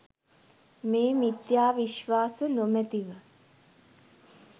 මේ මිථ්‍යා විශ්වාස නොමැතිව